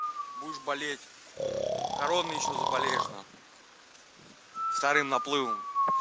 будешь болеть короной ещё заболеешь на хуй вторым наплывом